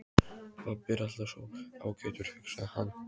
Pabbi er alltaf svo ágætur, hugsaði hann.